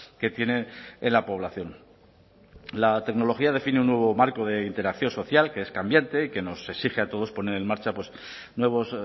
que tiene en la población la tecnología define un nuevo marco de interacción social que es cambiante y que nos exige a todos poner en marcha nuevos